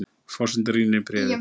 Forsetinn rýnir í bréfið.